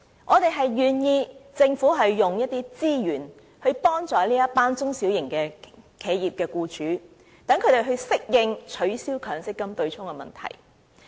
我們願意讓政府花一些資源，幫助這群中小企僱主，讓它們適應取消強積金對沖的問題。